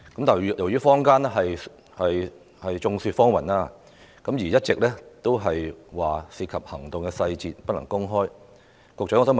雖然坊間眾說紛紜，但警方一直以涉及行動細節理由不能公開催淚彈成分。